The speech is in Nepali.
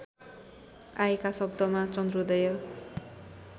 आएका शब्दमा चन्द्रोदय